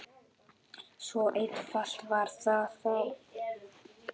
Svo einfalt var það þá.